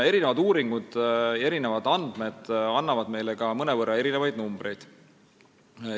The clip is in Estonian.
Erinevad uuringud annavad meile ka mõnevõrra erinevaid numbreid.